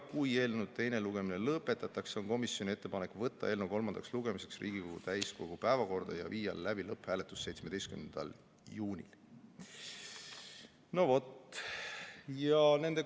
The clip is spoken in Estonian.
Kui eelnõu teine lugemine lõpetatakse, on komisjoni ettepanek võtta eelnõu kolmandaks lugemiseks Riigikogu täiskogu päevakorda ja viia 17. juunil läbi lõpphääletus.